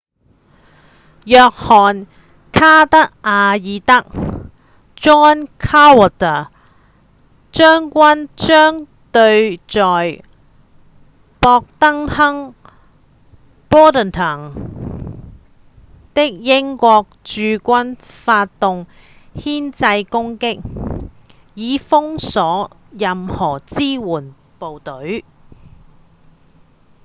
約翰·卡德瓦爾德 john cadwalder 將軍將對在博登敦 bordentown 的英國駐軍發動牽制攻擊以封鎖任何支援部隊